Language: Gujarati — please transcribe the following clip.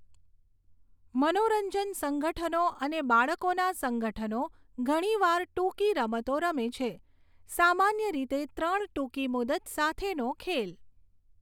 મનોરંજન સંગઠનો અને બાળકોના સંગઠનો ઘણી વાર ટૂંકી રમતો રમે છે, સામાન્ય રીતે ત્રણ ટૂંકી મુદત સાથેનો ખેલ.